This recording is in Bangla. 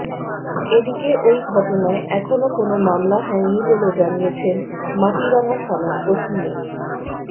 এদিকে ওই ঘটনায় এখনো কোনো মামলা হয়নি বলে জানিয়েছেন মাটিরাঙ্গা থানার ওসি মো